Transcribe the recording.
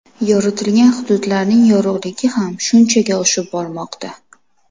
Yoritilgan hududlarning yorug‘ligi ham shunchaga oshib bormoqda.